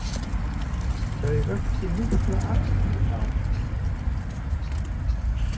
Þau vöktu mikla athygli á sínum tíma.